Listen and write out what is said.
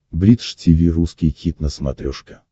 бридж тиви русский хит на смотрешке